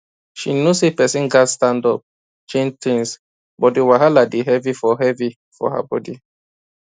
she know say person gats stand up change things but di wahala dey heavy for heavy for her body